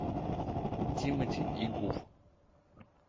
тимати и гуф